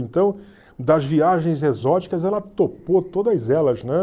Então, das viagens exóticas, ela topou todas elas, né?